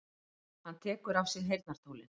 Hann tekur af sér heyrnartólin.